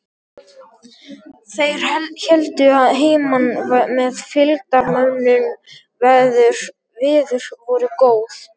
Þeir héldu að heiman með fylgdarmönnum, veður voru góð.